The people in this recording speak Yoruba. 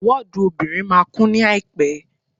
Wọ́ọ̀dù obìnrin máa kún ní àìpẹ́.